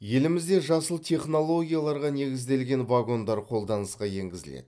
елімізде жасыл технологияларға негізделген вагондар қолданысқа енгізіледі